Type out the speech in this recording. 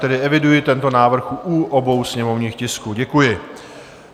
Tedy eviduji tento návrh u obou sněmovních tisků, děkuji.